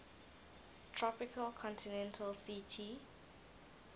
tropical continental ct